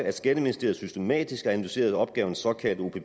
at skatteministeriet systematisk har analyseret opgavens såkaldte